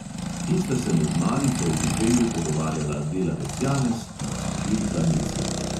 In sta se med malico v bifeju pogovarjala delavec janez in snažilka mici.